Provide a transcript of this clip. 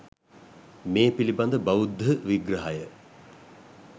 මේ පිළිබඳ බෞද්ධ විග්‍රහය